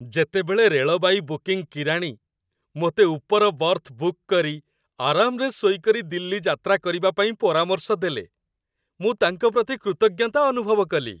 ଯେତେବେଳେ railway booking କିରାଣୀ ମୋତେ ଉପର ବର୍ଥ ବୁକ୍ କରି ଆରାମରେ ଶୋଇକରି ଦିଲ୍ଲୀ ଯାତ୍ରା କରିବା ପାଇଁ ପରାମର୍ଶ ଦେଲେ, ମୁଁ ତାଙ୍କ ପ୍ରତି କୃତଜ୍ଞତା ଅନୁଭବ କଲି।